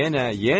yenə qoy.